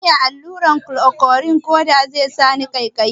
Zan iya yin allurar klorokwin koda sai sani ƙaikayi?